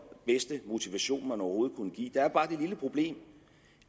bedste motivation man overhovedet kunne give der er bare det lille problem